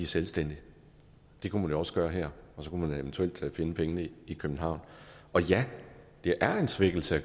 selvstændige det kunne man også gøre her og så kunne man eventuelt finde pengene i københavn og ja det er en svækkelse